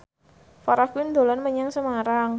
Farah Quinn dolan menyang Semarang